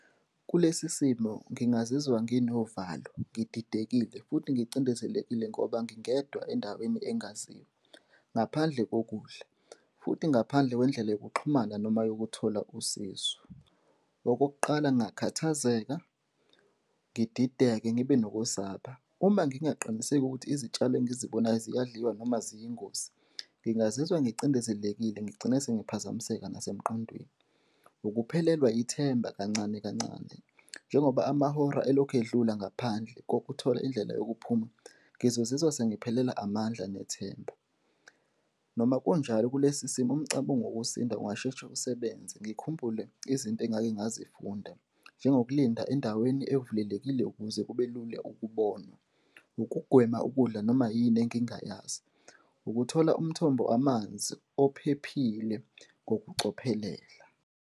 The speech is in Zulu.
Kulesi simo ngingazizwa nginovalo, ngididekile futhi ngicindezelekile ngoba ngingedwa endaweni engaziwa ngaphandle kokudla futhi ngaphandle kwendlela yokuxhumana noma yokuthola usizo. Okokuqala, ngingakhathazeka, ngidideke, ngibe nokwesaba, uma ngingaqiniseki ukuthi izitshalo engizibonayo siyadliwa noma ziyingozi, ngingazizwa ngicindezelekile ngigcine sengiphazamiseka nasemqondweni. Ukuphelelwa ithemba kancane kancane njengoba amahora elokhu edlula ngaphandle kokuthola indlela yokuphuma, ngizozizwa sengiphelelwa amandla nethemba. Noma kunjalo, kulesi simo umcabango wokusinda ungasheshe usebenze, ngikhumbule izinto engake ngazifunda, njengokulinda endaweni evulelekile ukuze kube lula ukubonwa, ukugwema ukudla noma yini engingayazi, ukuthola umthombo amanzi ophephile ngokucophelela.